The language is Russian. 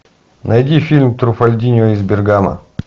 найди фильм труффальдино из бергамо